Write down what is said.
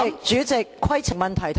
主席，規程問題。